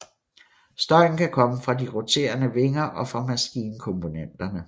Støjen kan komme fra de roterende vinger og fra maskinkomponenterne